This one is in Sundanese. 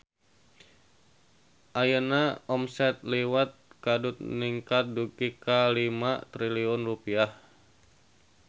Ayeuna omset Liwet Kadut ningkat dugi ka 5 triliun rupiah